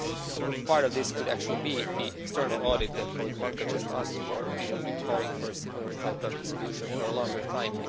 A part of this could actually be the external audit that my colleague, Mr Maňka, just asked for. We have been calling for a similar type of solution for a longer time.